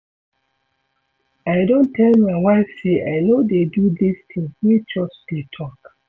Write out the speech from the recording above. I don tell my wife say I no dey do dis thing wey church dey talk